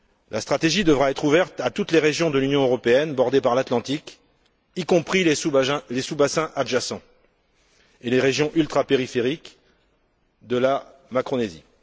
La stratégie devra être ouverte à toutes les régions de l'Union européenne bordées par l'Atlantique, y compris les sous bassins adjacents et les régions ultrapériphériques de la Macaronésie.